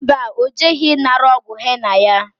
Mba, o jeghi nara ogwu henna ya